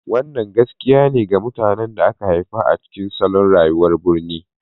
Wannan gaskiya ne ga mutanen da aka haifa a cikin salon rayuwar birni.